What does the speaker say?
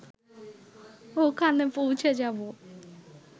ওখানে পৌঁছে যাব